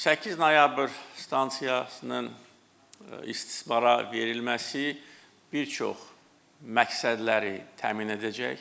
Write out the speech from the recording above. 8 noyabr stansiyasının istismara verilməsi bir çox məqsədləri təmin edəcək.